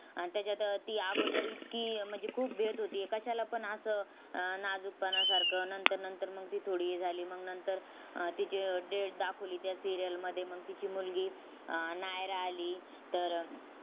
आणि त्याच्यात ती अगोदर इतकी म्हणजे खूप भियत होती, कशाला पण असं नाजुकपणासारखं. नंतर नंतर मग ती थोडी हे झाली. मग नंतर तिची death दाखवली त्या serial मध्ये. मग तिची मुलगी आह नायरा आली. तर